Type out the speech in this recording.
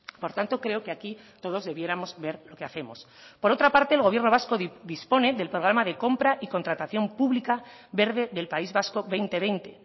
por tanto creo que aquí todos debiéramos ver lo que hacemos por otra parte el gobierno vasco dispone del programa de compra y contratación pública verde del país vasco dos mil veinte